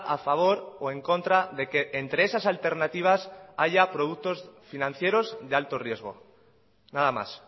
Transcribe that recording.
a favor o en contra de que entre esas alternativas haya productos financieros de alto riesgo nada más